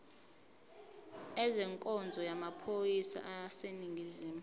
ezenkonzo yamaphoyisa aseningizimu